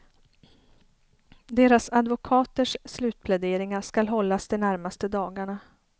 Deras advokaters slutpläderingar skall hållas de närmaste dagarna.